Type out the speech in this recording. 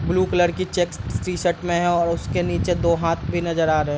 Blue colour के checks T-shirt में हैं और उसके नीचे दो हाथ भी नजर आ रहा है।